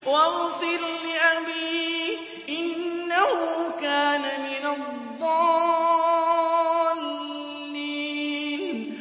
وَاغْفِرْ لِأَبِي إِنَّهُ كَانَ مِنَ الضَّالِّينَ